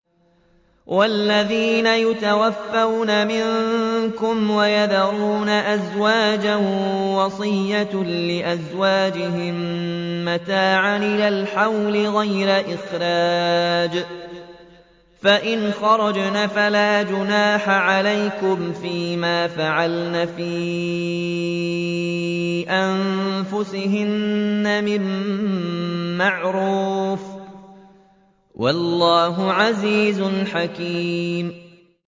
وَالَّذِينَ يُتَوَفَّوْنَ مِنكُمْ وَيَذَرُونَ أَزْوَاجًا وَصِيَّةً لِّأَزْوَاجِهِم مَّتَاعًا إِلَى الْحَوْلِ غَيْرَ إِخْرَاجٍ ۚ فَإِنْ خَرَجْنَ فَلَا جُنَاحَ عَلَيْكُمْ فِي مَا فَعَلْنَ فِي أَنفُسِهِنَّ مِن مَّعْرُوفٍ ۗ وَاللَّهُ عَزِيزٌ حَكِيمٌ